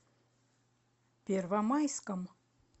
первомайском